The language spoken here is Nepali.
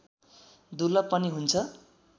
दुर्लभ पनि हुन्छ